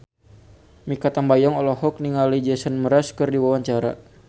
Mikha Tambayong olohok ningali Jason Mraz keur diwawancara